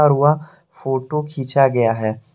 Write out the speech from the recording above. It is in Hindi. फोटो खींचा गया है।